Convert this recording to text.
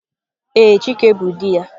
Ee, chike bu di ya.